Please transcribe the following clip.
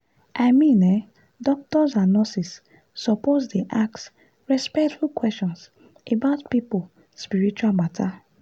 i mean eh doctors and nurses suppose dey ask respectful questions about people spiritual matter.